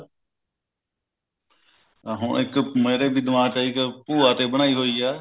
ਆਹੋ ਇੱਕ ਮੇਰੇ ਵੀ ਦਿਮਾਗ ਚ ਆਈ ਭੂਆ ਤੇ ਬਣਾਈ ਹੋਈ ਆ